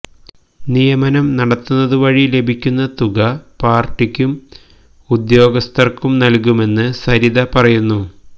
നിയമനം നടത്തുന്നതുവഴി ലഭിക്കുന്ന തുക പാര്ട്ടിക്കും ഉദ്യോഗസ്ഥര്ക്കും നല്കുമെന്ന് സരിത പറയുന്നു